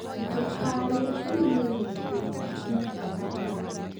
Ndũkarĩe irio nyingĩ rita rĩmwe